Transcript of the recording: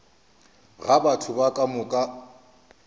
ga batho ba ka moka